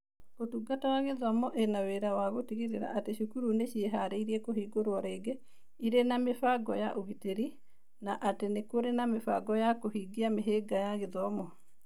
Ũtungata wa Gĩthomo ĩna wĩra wa gũtigĩrĩra atĩ cukuru nĩ ciĩharĩirie kũhingũrwo rĩngĩ irĩ na mĩbango ya ũgitĩri na atĩ nĩ kũrĩ mĩbango ya kũhingia mĩhĩnga ya gĩthomo.